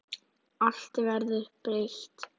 Allt verður breytt.